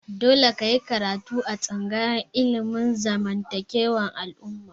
Dole ka yi karatu a tsangayar ilimin zamantakewar al'umma!